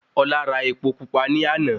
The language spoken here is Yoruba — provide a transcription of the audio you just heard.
Ọlá ra epo pupa ní àná